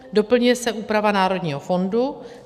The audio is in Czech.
Doplňuje se úprava Národního fondu.